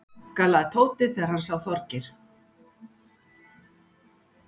galaði Tóti þegar hann sá Þorgeir.